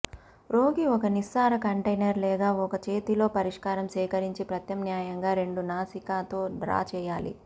రోగి ఒక నిస్సార కంటైనర్ లేదా ఒక చేతిలో పరిష్కారం సేకరించి ప్రత్యామ్నాయంగా రెండు నాసికా తో డ్రా చేయాలి